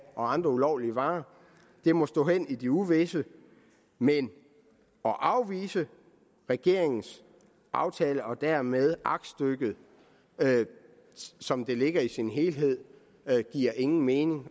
og andre ulovlige varer må stå hen i det uvisse men at afvise regeringens aftale og dermed aktstykket som det ligger i sin helhed giver ingen mening